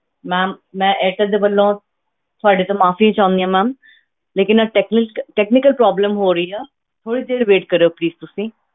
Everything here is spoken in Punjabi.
Ma'am ਮੈਂ ਏਅਰਟੈਲ ਦੇ ਵੱਲੋਂ ਤੁਹਾਡੇ ਤੋਂ ਮਾਫ਼ੀ ਚਾਹੁੰਦੀ ਹਾਂ ma'am ਲੇਕਿੰਨ ਇਹ technique technical problem ਹੋ ਰਹੀ ਆ, ਥੋੜ੍ਹੀ ਦੇਰ wait ਕਰਿਓ please ਤੁਸੀਂ।